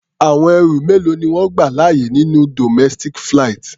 Àwọn ẹrù mélòó ni wọ́n gbà láàyè nínú domestic flight?